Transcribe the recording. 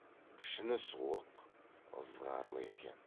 пішіні суық ызғарлы екен